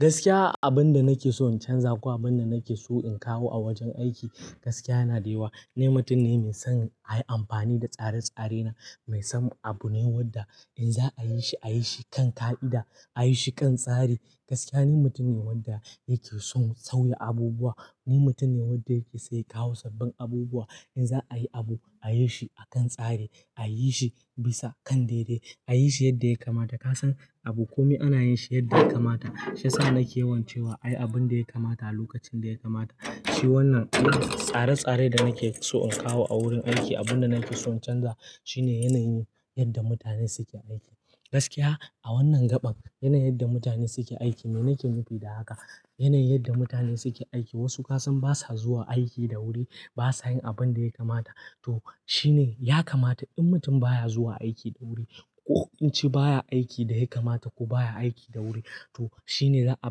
Gaskiya abin da nake so in canza ko abin da nake so in kawo a wajen aiki gaskiya yana da yawa. Ni mutum ne mai son ayi amfani da tsare-tsare na, mai son abu ne wadda in za a yi shi a yi shi kan ƙa'ida, a yi shi kan tsari. Gaskiya ni mutum ne wanda yake son sauya abubuwa. Ni mutum ne wadda yake so ya kawo sabbin abubuwa. In za a yi abu a yi shi a kan tsari, a yi shi bisa kan daidai, a yi shi yadda ya kamata. Ka san abu komai ana yin shi yadda ya kamata. Shi ya sa nake yawan cewa ayi abun da ya kamata a lokacin da ya kamata. Shi wannan tsare-tsare da nake so in kawo a wurin aiki. Abin da nake son in canza shine yanayin yanda mutane suke aiki. Gaskiya a wannan gaɓan yanayin yadda mutane suke aiki, me nake nufi da haka? Yanayin yadda mutanen suke aiki, wasu ka san basa zuwa aiki da wuri, basa yin abin da ya kamata. To shine, ya kamata in mutum ba ya zuwa aiki da wuri ko in ce ba ya aiki da ya kamata ko ba ya aiki da wuri, to shine za'a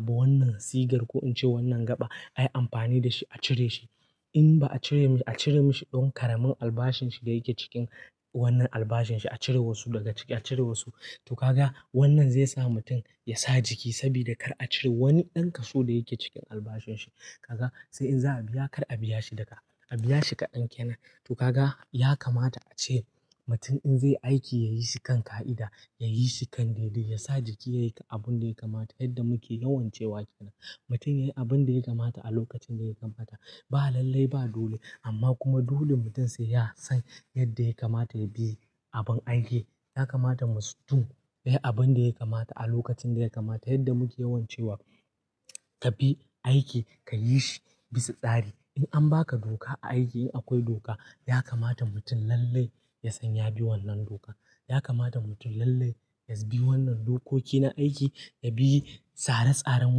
bi wannan sigar ko in ce wannan gaɓa ayi amfani da shi a cire shi. In ba a cire, a cire mashi ɗan ƙaramin albashin shi da yake cikin wannan albashin shi a cire wasu daga ciki a cire wasu. To kaga wannan zai sa mutum ya sa jiki sabida kar a cire wani ɗan kaso da yake cikin albashin shi. Kaga sai in za'a biya kar a biya shi duka, a biya shi kaɗan kenan. To kaga ya kamata ace mutum in zai aiki ya yi shi kan ƙa'ida, ya yi shi kan daidai, ya sa jiki ya yi abun da ya kamata yadda muke yawan cewa kenan. Mutum ya yi abun da ya kamata a lokacin da ya kamata. Ba lallai ba dole, amma kuma dole mutum sai ya san yadda ya kamata ya bi abun aiki. Ya kamata musu du ya yi abun da ya kamata a lokacin da ya kamata yadda muke yawan cewa ka bi aiki ka yi shi bisa tsari. In an ba ka doka aiki in akwai doka ya kamata mutum lallai ya san ya bi wannan dokan. Ya kamata mutum lallai ya bi wannan dokoki na aiki, ya bi tsare tsaren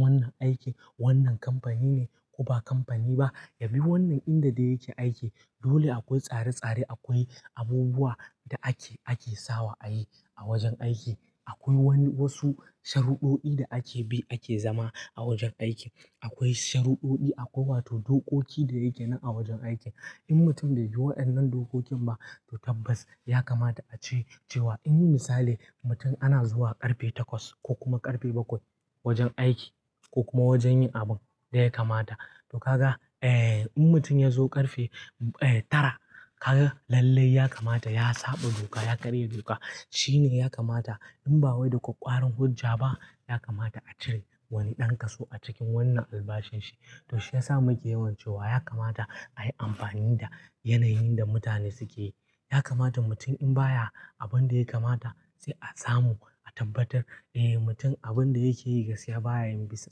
wannan aiki. Wannan kamfani ne ko ba kamfani ba ya bi wannan inda dai yake aiki. Dole akwai tsare-tsare, akwai abubuwa da ake, ake sawa ayi a wajen aiki. Akwai wani, wasu sharuɗoɗi da ake bi ake zama a wajen aiki. Akwai sharuɗoɗi akwai wato dokoki da yake nan a wajen aikin. In mutum bai bi waƴannan dokokin ba to tabbas ya kamata ace cewa in misali mutum ana zuwa ƙarfe takwas ko kuma ƙarfe bakwai wajen aiki ko kuma wajen yin abun da ya kamata. To kaga in mutum ya zo ƙarfe tara kaga lallai ya kamata ya saɓa doka ya karya doka. Shine ya kamata in ba wai da ƙwaƙƙwaran hujja ba ya kamata a cire wani ɗan kaso a cikin wannan albashin shi. To shi ya sa muke yawan cewa ya kamata ayi amfani da yanayin da mutane suke. Ya kamata mutum in baya abun da ya kamata sai a samu a tabbatar eh mutum abin da yake yi gaskiya baya yin bisa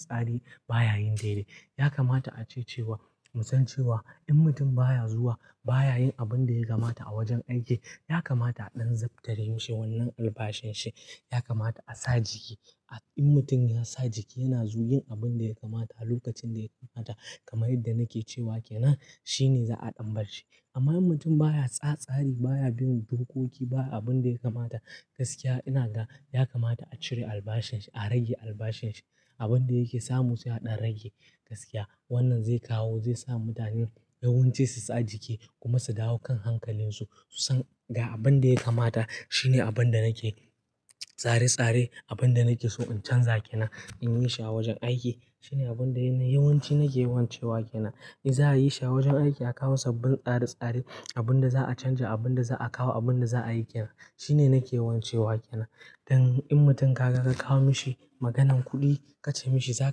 tsari baya yin daidai. Ya kamata ace cewa. Mu san cewa in mutum baya zuwa baya yin abin da ya kamata a wajen aiki ya kamata a ɗan zaftare mishi wannan albashin shi. Ya kamata a sa jiki. In mutum ya sa jiki yana zu yin abin da ya kamata a lokacin da ya kamata kamar yadda nake cewa kenan shine za'a ɗan bar shi. Amma mutum baya sa tsari baya bin dokoki baya abun da ya kamata, gaskiya ina ga ya kamata a cire albashin shi, a rage albashin shi. Abun da yake samu sai a ɗan rage gaskiya. Wannan zai kawo zai sa mutane yawanci su sa jiki kuma su dawo kan hankalin su, su san ga abun da ya kamata shine abun da nake. Tsare-tsare abun da nake so in canza kenan in yi shi a wajen aiki. Shine abin da yawanci nake yawan cewa kenan. In za a yi shi a wajen aiki a kawo sabbin tsare-tsare abin da za'a canja abun da za'a kawo abun da za'a yi kenan. Shine nake yawan cewa kena. Dan in mutum ka ga ka kawo mishi maganan kuɗi ka ce mishi za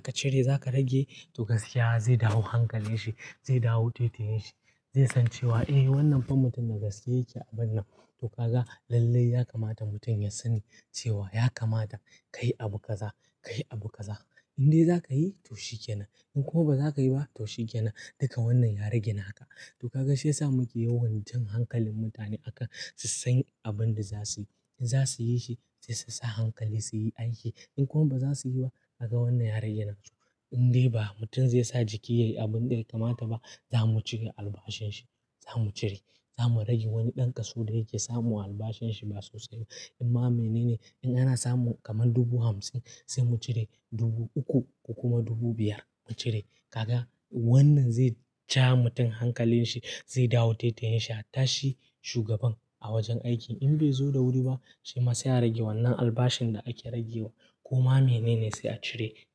ka cire za ka rage to gaskiya zai dawo hankalin shi, zai dawo taitayin shi, zai san cewa eh wannan fa mutumin da gaske yake abun nan. To kaga lallai ya kamata mutum ya sani cewa ya kamata ka yi abu kaza, ka yi abu kaza. In dai za ka yi to shikenan, in kuma ba za ka yi ba to shikenan. Duka wannan ya rage naka. To kaga shi yasa muke yawan jan hankalin mutane akan su san abun da za su yi. Za su yi shi sai su sa hankali su yi aiki. In kuma ba za su yi ba kaga wannan ya rage nasu. In dai ba mutum zai sa jiki yai abun da ya kamata ba za mu cire albashin shi, za mu cire. Za mu rage wani ɗan kaso da yake samu a albashin shi ba sosai ba. Amma mene ne? In ana samu kamar dubu hamsin sai mu cire dubu uku ko kuma dubu biyar mu cire. Kaga wannan zai ja mutum hankalin shi, zai dawo taitayin shi, hatta shi shugaban a wajen aiki. In bai zo da wuri ba shima sai a ya rage wannan albashin da ake rage wa. Kuma mene ne sai a cire.